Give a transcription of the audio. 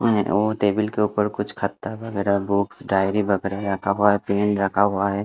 और टेबल के ऊपर कुछ खत्ता वगैरह बुक्स डायरी वगैरा रखा हुआ हैं पेन रखा हुआ हैं।